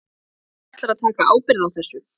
Hver ætlar að taka ábyrgð á þessu?